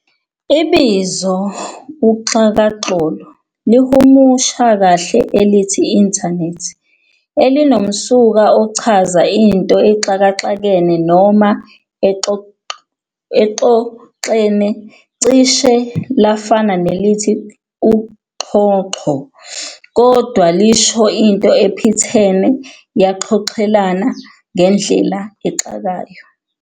Ibizo elithi "uxhakaxholo" lihumusha kahle elithi "internet" elinomsuka ochaza into exhakaxhene, noma exhoxhene, cishe lafana nelithi uxhoxho, kodwa lisho into ephithene, yaxhoxhelana ngendlela exakayo.